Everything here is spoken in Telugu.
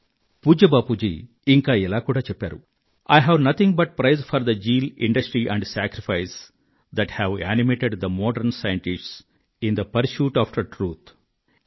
ఇంకా పూజ్య Bapuji I have nothing but praise for the zeal industry and sacrifice that have animated the modern scientists in the pursuit after truth అని కూడా అన్నారు